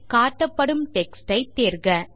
காட்டப்படும் டெக்ஸ்ட் ஐ தேர்க